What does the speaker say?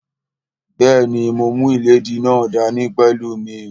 Bẹ́ẹ̀ni, mo mú ìléèdí náà dá ní pẹ̀lú mí